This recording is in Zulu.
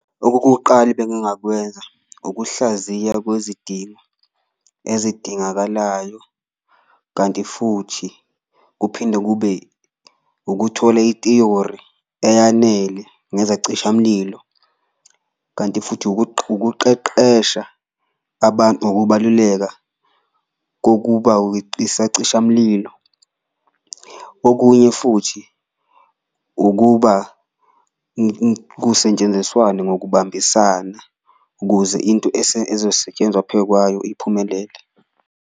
Okokuqala ebengingakwenza ukuhlaziya kwezidingo ezidingakalayo, kanti futhi kuphinde kube ukuthola itiyori eyanele ngezacishamlilo, kanti futhi ukuqeqesha abantu ngokubaluleka kokuba isacishamlilo. Okunye futhi ukuba kusetshenziswane ngokubambisana, ukuze into ezosetshenzwa phekwayo iphumelele.